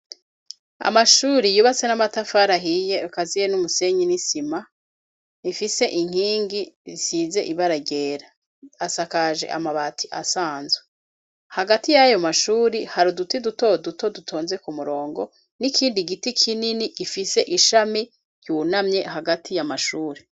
Amashuri yubatse n'amatafari ahiye, akaziye n'umusenyi n'isima, ifise inkingi isize ibara ryera, asakaje amabati asanzwe; hagati y'ayo mashuri, hari uduti duto duto, dutonze ku murongo, n'ikindi giti kinini, gifise ishami ryunamye, hagati y'amashuri.